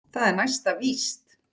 Það er næsta víst.